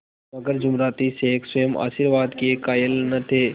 मगर जुमराती शेख स्वयं आशीर्वाद के कायल न थे